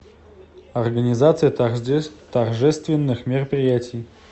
организация торжественных мероприятий